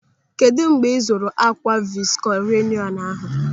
Kedụ mgbe ị zụrụ ákwà visko reyọnu ahụ?